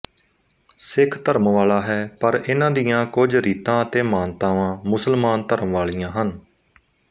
ਸਿੱਖ ਧਰਮ ਵਾਲਾ ਹੈ ਪਰ ਇਨ੍ਹਾਂ ਦੀਆਂ ਕੁਝ ਰੀਤਾਂ ਅਤੇ ਮਾਨਤਾਵਾਂ ਮੁਸਲਮਾਨ ਧਰਮ ਵਾਲੀਆਂ ਹਨ